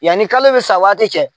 Yanni kalo bɛ sa waati cɛ.